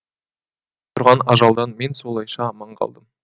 тұрған ажалдан мен солайша аман қалдым